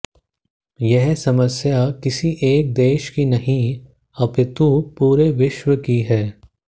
यह समस्या किसी एक देश की नहीं अपितु पूरे विश्व की है